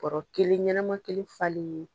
Kɔrɔ kelen ɲɛnɛma kelen falen ye.